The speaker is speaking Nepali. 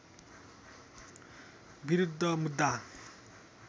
विरुद्ध मुद्दा